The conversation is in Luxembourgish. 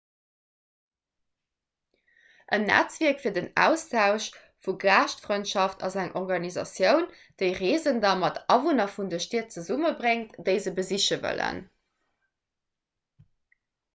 en netzwierk fir den austausch vu gaaschtfrëndschaft ass eng organisatioun déi reesender mat awunner vun de stied zesummebréngt déi se besiche wëllen